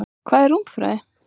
Hvað er rúmfræði?